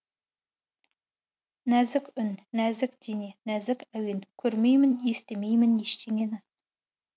нәзік үн нәзік дене нәзік әуен көрмеймін естімеймін ештеңені